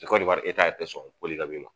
Ni konewari tɛ sɔn ma